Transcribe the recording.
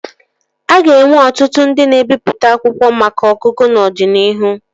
A ga-enwe ọtụtụ ndị na-ebipụta akwụkwọ maka ọgụgụ n'ọdịnihu